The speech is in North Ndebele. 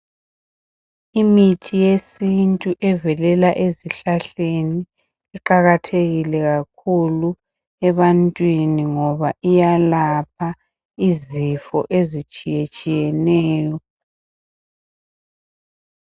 Imithi yesintu evelela ezihlahleni iqakathekile kakhulu ebantwini ngoba iyalapha izifo ezitshiye tshiyeneyo.